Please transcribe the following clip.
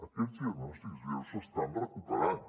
aquests diagnòstics lleus s’estan recuperant